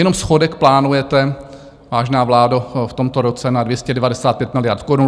Jenom schodek plánujete, vážná vládo, v tomto roce na 295 miliard korun.